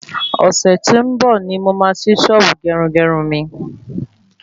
Ọ̀sẹ̀ tó ń bò ni mo máa ṣí sọ́ọ́bù gerungerun mi